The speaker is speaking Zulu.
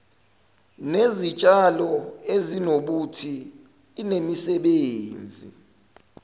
nezitshalo ezinobuthi inemisebenzi